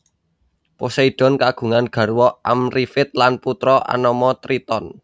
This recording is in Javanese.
Poseidon kagungan garwa Amrifit lan putra anama Triton